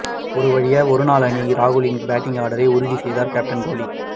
ஒருவழியா ஒருநாள் அணியில் ராகுலின் பேட்டிங் ஆர்டரை உறுதி செய்தார் கேப்டன் கோலி